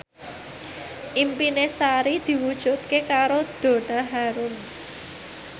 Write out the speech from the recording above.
impine Sari diwujudke karo Donna Harun